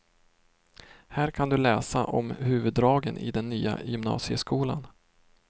Här kan du läsa om huvuddragen i den nya gymnasieskolan.